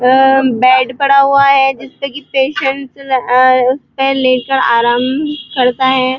व बेड पड़ा हुआ है। जिसपे की पेशेंट अ उस पर लेटकर आराम करता है।